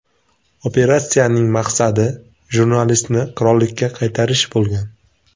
Operatsiyaning maqsadi jurnalistni qirollikka qaytarish bo‘lgan.